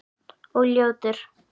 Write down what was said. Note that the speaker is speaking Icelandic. Og ljótur.